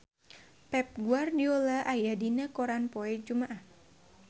Pep Guardiola aya dina koran poe Jumaah